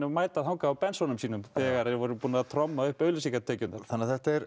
mæta þarna á Bens unum sínum þegar þeir voru búnir að tromma upp auglýsingatekjurnar þetta er